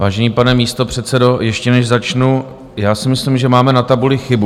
Vážený pane místopředsedo, ještě než začnu, já si myslím, že máme na tabuli chybu.